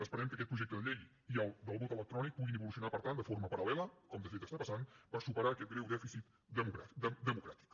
esperem que aquest projecte de llei i el del vot electrònic puguin evolucionar per tant de forma paral·lela com de fet està passant per superar aquest greu dèficit democràtic